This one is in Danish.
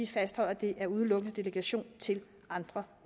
fastholder at det udelukkende er delegation til andre